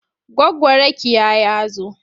Goggo Rakiya ya zo.